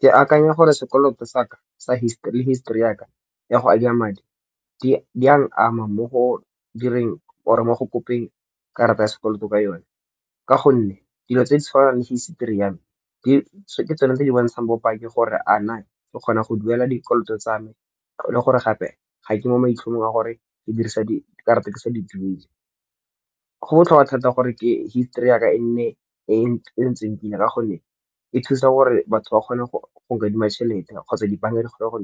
Ke akanya gore sekoloto saka sa history le history yaka ya go adima madi, di a ama mo go direng or-e mo go kopeng karata ya sekoloto ka yone. Ka gonne, dilo tse di tshwanang le history ya me ke tsone tse di bontshang bo pake gore a na ke kgona go duela dikoloto tsa me le gore gape ga ke mo maitlhomong a gore ke dirisa dikarata ke sa di duele. Go botlhokwa thata gore history ya ka e nne e e ntseng pila, ka gonne e thusa gore batho ba kgone go nkadima tšhelete kgotsa dibanka di kgona go